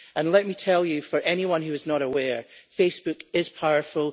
Let me tell you for anyone who is not aware that Facebook is powerful